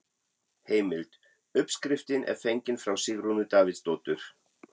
Heimild: Uppskriftin er fengin frá Sigrúnu Davíðsdóttur.